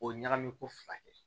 O ye ɲagami ko fila ye